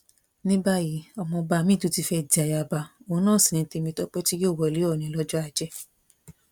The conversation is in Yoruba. ní báyìí ọmọọba miín tún ti fẹ́ di ayaba òun náà sí ní tèmítọpẹ tí yóò wọlé ọ̀ọ̀ni lọ́jọ́ ajé